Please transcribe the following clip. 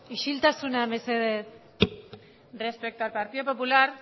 isiltasuna mesedez respecto al partido popular